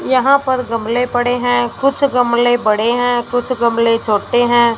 यहाँ पर गमले पड़े हैं कुछ गमले बड़े हैं कुछ गमले छोटे हैं।